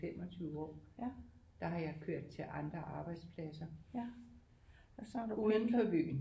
25 år der har jeg kørt til andre arbejdspladser udenfor byen